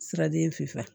Siradin finfa